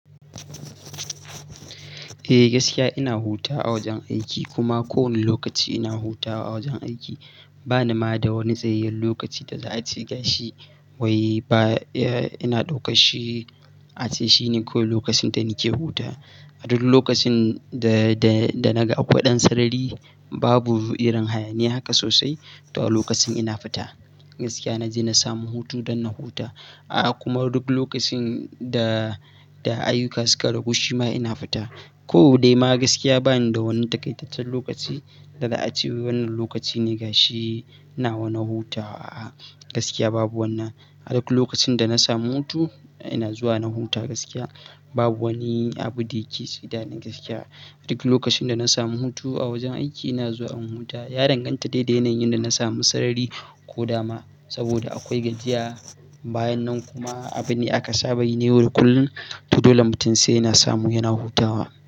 Eh gaskiya ina hutawa a wajen aiki kuma ko wane lokaci ina hutawa a wajen aiki. Bana ma da wani tsayayyen lokaci da za a ce ga shi wai ba ina ɗauka shi, a ce shine kawai lokacin da nake hutawa. A duk lokacin da, da, da naga akwai ɗan sarari, babu irin hayaniya haka sosai. To lokacin ina fita gaskiya na je na samu hutu don na huta. A'a kuma duk lokacin da, da ayyuka suka ragu shi ma ina fita. Ko dai ma gaskiya bani da wani takaitaccen lokaci da za a ce wannan lokaci ne ga shi ina wanna hutawa. A'a gaskiya babu wannan. A duk lokacin da na samu hutu ina zuwa na huta gaskiya babu wani abu da yake ci da ni gaskiya. A duk lokacin da na samu hutu a wajen aiki ina zuwa in huta. Ya danganta dai da yanayin da na samu sarari ko dama. Saboda akwai gajiya bayan nan kuma abin ne aka saba yi ne. Duk kullum to dolai mutum sai yana samu yana hutawa.